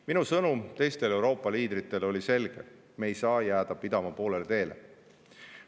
Minu sõnum teistele Euroopa liidritele oli selge: me ei saa jääda pidama poolele teele.